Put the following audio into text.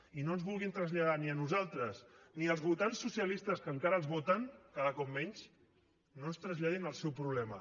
i no ens vulguin traslladar ni a nosaltres ni als votants socialistes que encara els voten cada cop menys no ens traslladin el seu problema